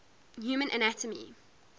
human anatomy